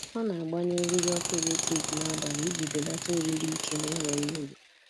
Ọ na-agbanyụ eriri ọkụ eletrik n'abalị iji belata oriri ike n'enweghị uru.